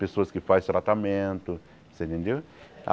pessoas que faz tratamento, você entendeu?